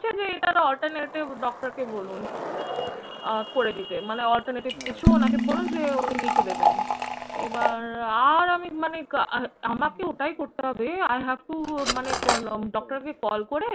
যে এটার alternative doctor কে বলুন। আহ করে দিতে মানে alternative কিছু ওনাকে বলুন যে উনি লিখে দেবেন। এবার আর আমি মানে আর আর আমাকে ওটাই করতে হবে। I have to মানে কোন doctor কে call করে